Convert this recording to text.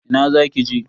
Ina zaki je?